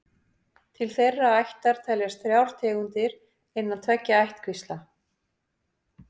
Til þeirrar ættar teljast þrjár tegundir innan tveggja ættkvísla.